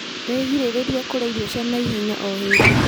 Wĩgirĩrĩrie kũrĩa irio cia naihenya o hĩndĩ